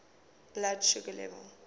blood sugar level